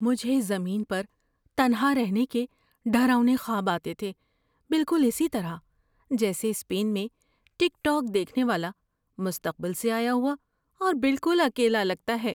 مجھے زمین پر تنہا رہنے کے ڈراؤنے خواب آتے تھے بالکل اسی طرح جیسے اسپین میں ٹک ٹاک دیکھنے والا مستقبل سے آیا ہوا اور بالکل اکیلا لگتا ہے۔